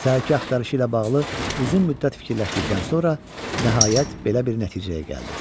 Səhərki axtarışı ilə bağlı uzun müddət fikirləşdikdən sonra nəhayət belə bir nəticəyə gəldi.